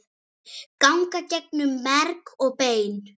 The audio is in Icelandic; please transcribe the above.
ganga gegnum merg og bein